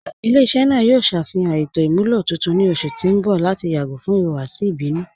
Ilẹ̀-iṣẹ naa yoo ṣafihan ètò imúlọ tuntun ni ọṣù ti n bọ̀ lati yagọ̀ fún ihuwasi ibinu.